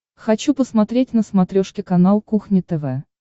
хочу посмотреть на смотрешке канал кухня тв